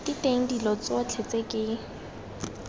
diteng dilo tsotlhe tse ke